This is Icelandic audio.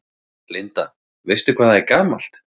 Linda: Veistu hvað það er gamalt?